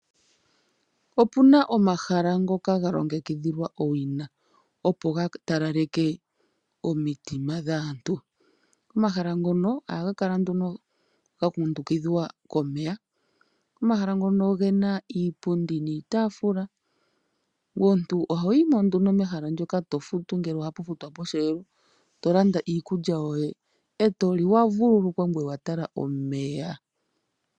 Opuna omahala ngoka ga longekidhwa owina, opo ga talaleke omitima dhaantu. Omahala ngono ohaga kala ga kundukithwa komeya, osho wo iipundi niitaafula. Aanangeshefa ohaya futidha aantu opo ya kale pomahala ngaka.